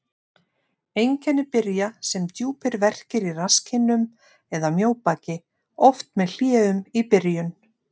Einkenni byrja sem djúpir verkir í rasskinnum eða mjóbaki, oft með hléum í byrjun.